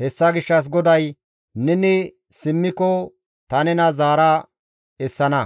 Hessa gishshas GODAY, «Neni simmiko ta nena zaara essana;